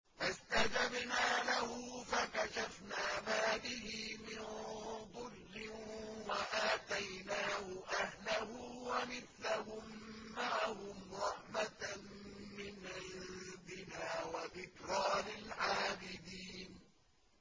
فَاسْتَجَبْنَا لَهُ فَكَشَفْنَا مَا بِهِ مِن ضُرٍّ ۖ وَآتَيْنَاهُ أَهْلَهُ وَمِثْلَهُم مَّعَهُمْ رَحْمَةً مِّنْ عِندِنَا وَذِكْرَىٰ لِلْعَابِدِينَ